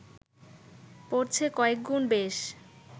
পড়ছে কয়েকগুণ বেশ